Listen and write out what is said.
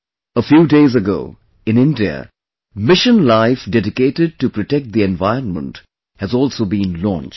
A few days ago, in India, Mission Life dedicated to protect the environment has also been launched